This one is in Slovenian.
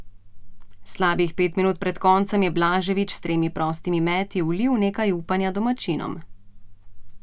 Slabih pet minut pred koncem je Blaževič s tremi prostimi meti vlil nekaj upanja domačinom.